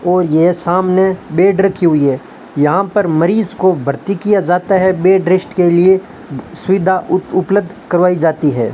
और यह सामने बेड रखी हुई है यहां पर मरीज को भर्ती किया जाता है बेड रेस्ट के लिए सुविधा उपलब्ध करवाई जाती है।